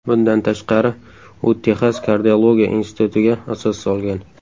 Bundan tashqari, u Texas kardiologiya institutiga asos solgan.